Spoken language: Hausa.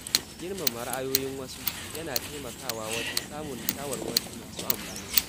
Girmama ra’ayoyin wasu yana taimakawa wajen samun shawarwari masu amfani.